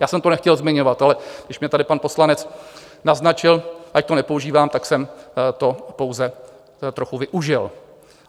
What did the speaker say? Já jsem to nechtěl zmiňovat, ale když mě tady pan poslanec naznačil, ať to nepoužívám, tak jsem to pouze trochu využil.